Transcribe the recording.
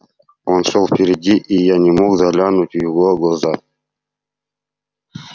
он шёл впереди и я не мог заглянуть в его глаза